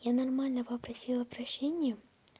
я нормально попросила прощения